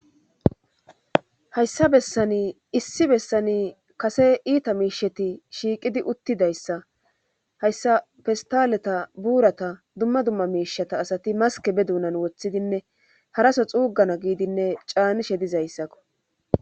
Hayssa bessani issi bessani kase iita miisheti shiiqidi uttidayssa hayssa festaleta buurata dumma dumma miishata asati maske be duunan woththidinne haraso xuugana giidinne caanishe dizayssako.